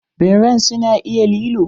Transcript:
Birran su na iya lilo?